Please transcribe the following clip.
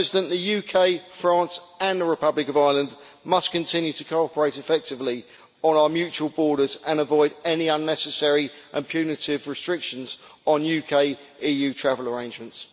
The UK, France and the Republic of Ireland must continue to cooperate effectively on our mutual borders and avoid any unnecessary and punitive restrictions on UK EU travel arrangements.